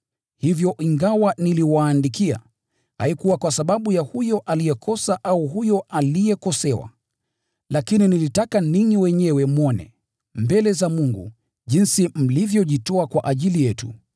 Hivyo ingawa niliwaandikia, haikuwa kwa sababu ya huyo aliyekosa au huyo aliyekosewa. Lakini nilitaka ninyi wenyewe mwone, mbele za Mungu, jinsi mlivyojitoa kwa ajili yetu.